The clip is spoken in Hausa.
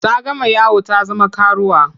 Ta gama yawo ta zama karuwa.